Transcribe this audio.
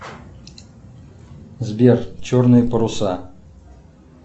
сбер черные паруса